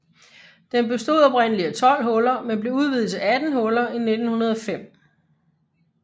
Den bestod oprindeligt af 12 huller men blev udvidet til 18 huller i 1905